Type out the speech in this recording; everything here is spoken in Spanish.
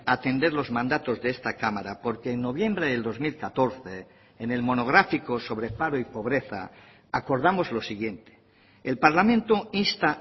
atender los mandatos de esta cámara porque en noviembre del dos mil catorce en el monográfico sobre paro y pobreza acordamos lo siguiente el parlamento insta